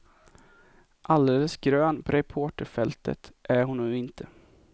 Alldeles grön på reporterfältet är hon nu inte.